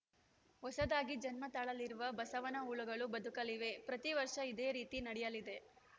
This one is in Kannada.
ಹೊಸದಾಗಿ ಜನ್ಮ ತಾಳಲಿರುವ ಬಸವನ ಹುಳುಗಳು ಬದುಕಲಿವೆ ಪ್ರತಿ ವರ್ಷ ಇದೇ ರೀತಿ ನಡೆಯಲಿದೆ